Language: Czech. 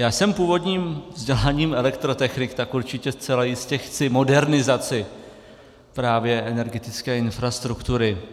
Já jsem původním vzděláním elektrotechnik, tak určitě zcela jistě chci modernizaci právě energetické infrastruktury.